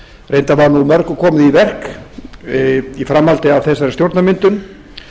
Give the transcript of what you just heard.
reyndar var mörgu komið í verk í framhaldi af þessari stjórnarmyndun